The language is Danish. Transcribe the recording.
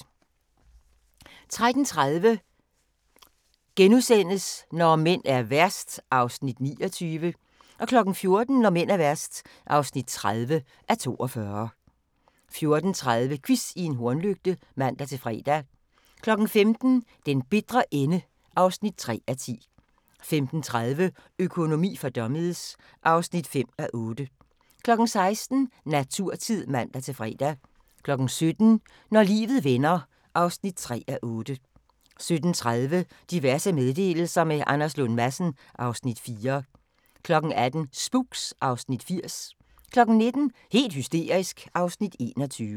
13:30: Når mænd er værst (29:42)* 14:00: Når mænd er værst (30:42) 14:30: Quiz i en hornlygte (man-fre) 15:00: Den bitre ende (3:10) 15:30: Økonomi for dummies (5:8) 16:00: Naturtid (man-fre) 17:00: Når livet vender (3:8) 17:30: Diverse meddelelser – med Anders Lund Madsen (Afs. 4) 18:00: Spooks (Afs. 80) 19:00: Helt hysterisk (Afs. 21)